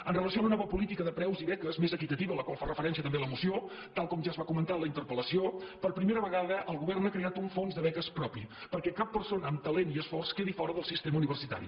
amb relació a la nova política de preus i beques més equitativa a la qual fa referència també la moció tal com ja es va comentar en la interpel·lació per prime·ra vegada el govern ha creat un fons de beques propi perquè cap persona amb talent i esforç quedi fora del sistema universitari